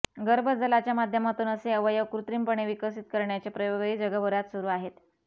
गर्भजलाच्या माध्यमातून असे अवयव कृत्रिमपणे विकसित करण्याचे प्रयोगही जगभरात सुरू आहेत